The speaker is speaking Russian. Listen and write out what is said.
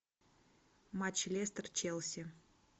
матч лестер челси